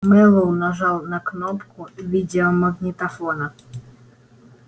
мэллоу нажал на кнопку видеомагнитофона